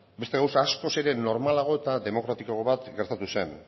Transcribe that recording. beste gauza askoz ere normalago eta demokratikoa gertatu zen